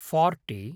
forty